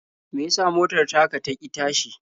Me ya sa motar taka ta ƙi tashi?